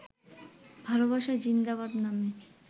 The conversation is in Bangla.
ভালোবাসা জিন্দাবাদ নামে